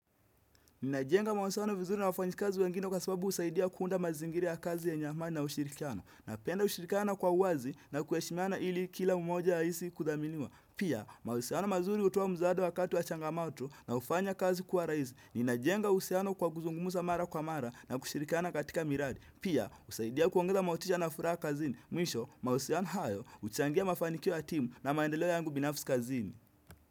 Ninajenga mauhusiano vizuri na wafanyikazi wengine kwa sababu usaidia kuunda mazingira ya kazi ya yenye amani na ushirikiano. Napenda ushirikiano kwa uwazi na kuheshimiana ili kila umoja ahisi kudhaminiwa. Pia, mahusiano mazuri utoa mzado wakati wa changamato na hufanya kazi kuwa raizi. Ninajenga uhusiano kwa kuzungumuza mara kwa mara na kushirikiano katika miradi. Pia, usaidia kuongeza motisha na furaha kazini. Mwisho, mauhusiano hayo, uchangia mafanikio ya timu na maendeleo yangu binafis kazini.